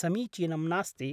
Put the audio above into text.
समीचीनं नास्ति।